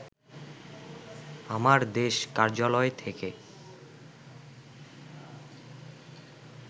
আমার দেশ কার্যালয় থেকে